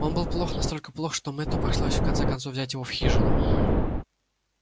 он был плох настолько плох что мэтту пришлось в конце концов взять его в хижину